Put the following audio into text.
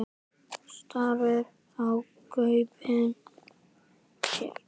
Starir í gaupnir sér.